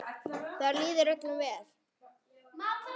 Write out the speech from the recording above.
Þar líður öllum vel.